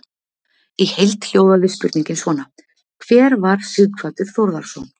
Í heild hljóðaði spurningin svona: Hver var Sighvatur Þórðarson?